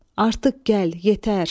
Artıq gəl, yetər.